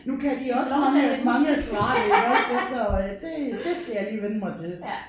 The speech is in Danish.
Nu kan de også huske lidt mange af svarene iggås efter øh det det skal jeg lige vænne mig til